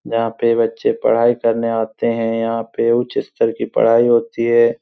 यहाँ पे बच्चे पढाई करने आते है। यहाँ पे उच्च स्तर की पढाई होती है।